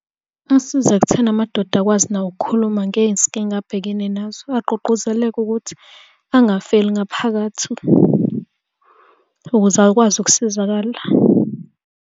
Asiza ekutheni amadoda akwazi nawo ukukhuluma ngezinkinga abhekene nazo. Agqugquzeleke ukuthi angafeli ngaphakathi ukuze akwazi ukusizakala.